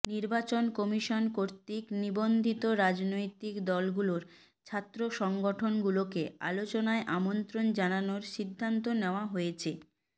নির্বাচন কমিশন কর্তৃক নিবন্ধিত রাজনৈতিক দলগুলোর ছাত্র সংগঠনগুলোকে আলোচনায় আমন্ত্রণ জানানোর সিদ্ধান্ত নেওয়া হয়েছে